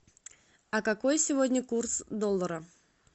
а какой сегодня курс доллара